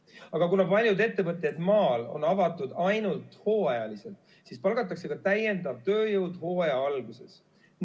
Aga kuna paljud ettevõtted maal on avatud ainult hooajaliselt, siis palgatakse ka täiendav tööjõud hooaja alguses.